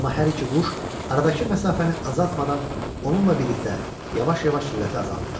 Amma hər iki quş aradakı məsafəni azaltmadan onunla birlikdə yavaş-yavaş sürəti azaldılar.